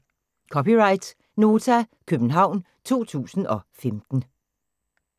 (c) Nota, København 2015